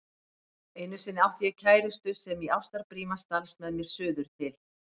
Einu sinni átti ég kærustu sem í ástarbríma stalst með mér suður til